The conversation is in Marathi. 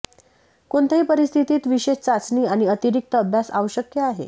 कोणत्याही परिस्थितीत विशेष चाचणी आणि अतिरिक्त अभ्यास आवश्यक आहे